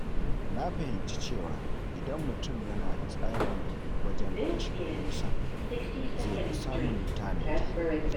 Na fahimci cewa idan mutum yana da tsari wajen kashe kuɗinsa, zai fi samun tanadi.